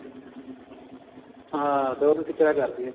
ਹਾਂ ਦਿਓਰ ਨੂੰ ਟਿੱਚਰਾਂ ਕਰਦੀ ਏ